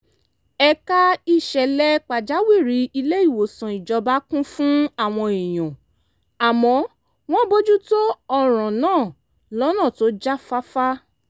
ẹ̀ka ìṣẹ̀lẹ̀ pàjáwìrì ilé-ìwòsàn ìjọba kún fún àwọn èèyàn àmọ́ wọ́n bójú tó ọ̀ràn náà lọ́nà tó jáfáfá